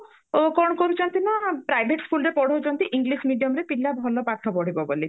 କଣ କରୁଛନ୍ତି ନା private schoolରେ ପଢଉଛନ୍ତି english mediumରେ ପିଲା ଭଲ ପାଠ ପଢିବ ବୋଲି